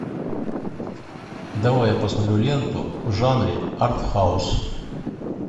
давай я посмотрю ленту в жанре артхаус